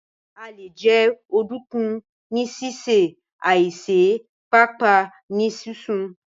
À lè jẹ Ọ̀dunkun ní àísè, tabi ni sísẹ̀ tabi paapaa nì sisun.